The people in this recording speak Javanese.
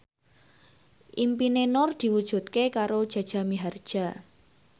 impine Nur diwujudke karo Jaja Mihardja